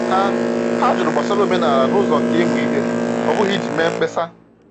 Ha Ha jụrụ gbasara omenala n’ụzọ nke ịmụ ihe, ọ bụghị iji mee mkpesa.